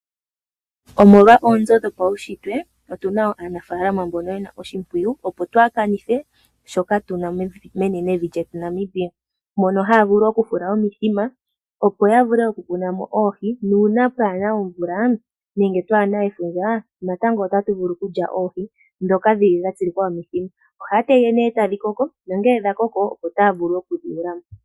Omolwa oonzo dhopaushitwe otuna wo aanafalama mbono yena oshimpwiyu, opo twaa kanithe shoka tuna menenevi lyetu Namibia. Mono haya vulu oku fula omithima opo ya vule oku muna mo oohi, nuuna kaapuna omvula nenge efundja natango otatu vulu okulya oohi ndhoka dhili dha tsilikwa momithima. Ohaya tege nee etadhi koko nongele sha koko, opo taya vulu okudhi yuula mo.